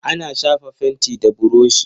Ana shafa fenti da burushi.